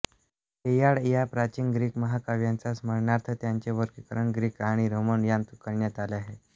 Iliad या प्राचीन Greek महाकाव्याच्या स्मरणार्थ त्यांचे वर्गीकरण ग्रीक आणि रोमन यांत करण्यात आले आहे